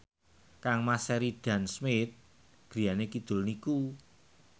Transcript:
kangmas Sheridan Smith griyane kidul niku